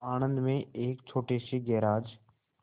आणंद में एक छोटे से गैराज